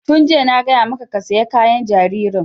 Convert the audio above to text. Tun jiya na gaya maka ka saya kayan jaririn!